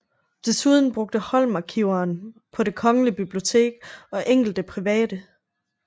Desuden brugte Holm arkiverne på det Kongelige Bibliotek og enkelte private